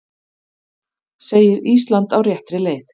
Segir Ísland á réttri leið